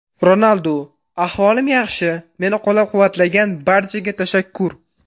Ronaldu: Ahvolim yaxshi, meni qo‘llab-quvvatlagan barchaga tashakkur.